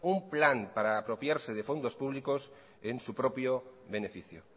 un plan para apropiarse de fondos públicos en su propio beneficio